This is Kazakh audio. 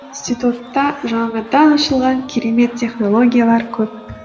институтта жаңадан ашылған керемет технологиялар көп